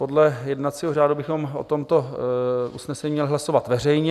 Podle jednacího řádu bychom o tomto usnesení měli hlasovat veřejně.